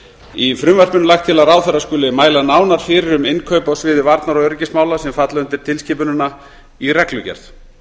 í frumvarpinu er lagt til að ráðherra skuli mæla nánar fyrir um innkaup á sviði varnar og öryggismála sem falla undir tilskipunina í reglugerð